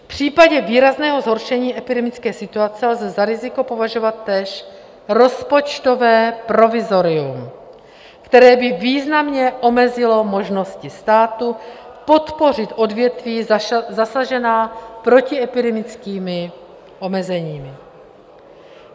V případě výrazného zhoršení epidemické situace lze za riziko považovat též rozpočtové provizorium, které by významně omezilo možnosti státu podpořit odvětví zasažená protiepidemickými omezeními.